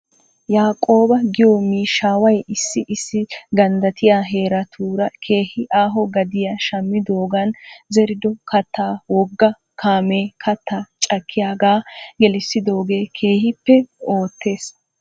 Yaaqooba giyoo miishshaaway issi issi ganddattiyaa heeratuura keehi aaho gadiyaa shammidoogan zerido kattaa wogga kaamee kattaa cakkiyaagaa kelissidoogee keehippe oottes.